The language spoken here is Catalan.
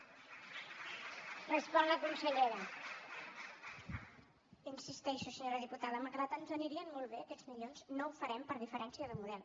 hi insisteixo senyora diputada malgrat que ens anirien molt bé aquests milions no ho farem per diferència de model